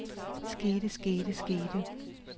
skete skete skete